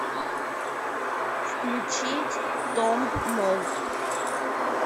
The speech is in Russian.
включить томб молд